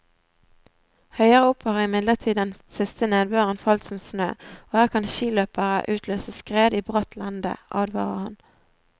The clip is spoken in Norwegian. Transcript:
Høyere opp har imidlertid den siste nedbøren falt som snø, og her kan skiløpere utløse skred i bratt lende, advarer han.